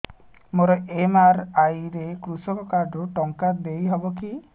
ମୋର ଏମ.ଆର.ଆଇ ରେ କୃଷକ କାର୍ଡ ରୁ ଟଙ୍କା ଦେଇ ହବ କି